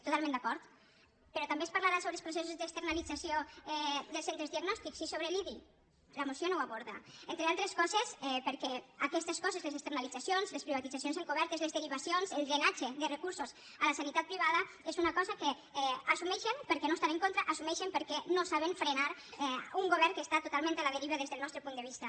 totalment d’acord però també es parlarà sobre els processos d’externalització dels centres diagnòstics sí sobre l’idi la moció no ho aborda entre altes coses perquè aquestes coses les externalitzacions les privatitzacions encobertes les derivacions el drenatge de recursos a la sanitat privada és una cosa que assumeixen perquè no hi estan en contra ho assumeixen perquè no saben frenar un govern que està totalment a la deriva des del nostre punt de vista